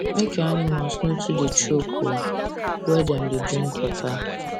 make your animals no da too choke da too choke where dem da drink water